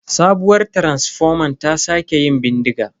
Sabuwar taransifoman ta sake yin bindiga.